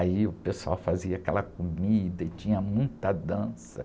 Aí o pessoal fazia aquela comida e tinha muita dança.